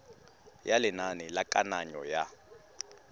ya lenane la kananyo ya